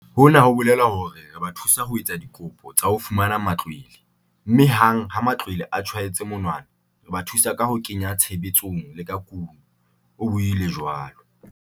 "Hona ho bolela hore re ba thusa ho etsa dikopo tsa ho fumana matlwele, mme hang ha matlwele a tjhaetswe monwana, re ba thusa ka ho kenya tshebetsong le ka kuno," o buile jwalo.